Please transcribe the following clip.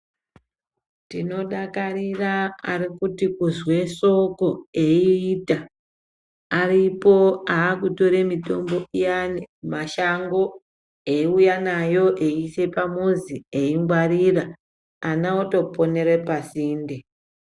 Tinodakarira arikuti kuzwe soko eiita aripo aakutore mitombo iyani mashango eiuya nayo eiise pamuzi eingwarira ana otoponete pasinde.